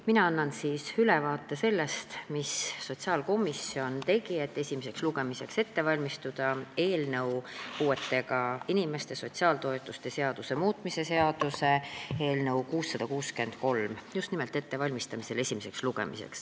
Mina annan ülevaate sellest, mida sotsiaalkomisjon tegi, et valmistada esimeseks lugemiseks ette puuetega inimeste sotsiaaltoetuste seaduse muutmise seaduse eelnõu 663.